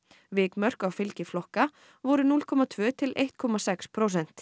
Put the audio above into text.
vikmörk á fylgi flokka voru núll komma tvær til ein komma sex prósent